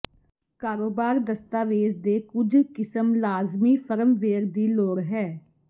ਕਾਰੋਬਾਰ ਦਸਤਾਵੇਜ਼ ਦੇ ਕੁਝ ਕਿਸਮ ਲਾਜ਼ਮੀ ਫਰਮਵੇਅਰ ਦੀ ਲੋੜ ਹੈ